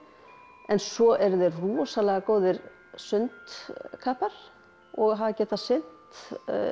en svo eru þeir rosalega góðir sundkappar og hafa getað synt